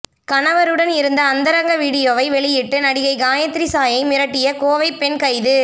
கணவருடன் இருந்த அந்தரங்க வீடியோவை வெளியிட்டு நடிகை காயத்ரி சாயை மிரட்டிய கோவை பெண் கைது